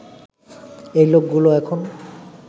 এই লোকগুলো এখন